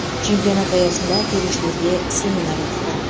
чемпионат аясында төрешілерге семинар өтті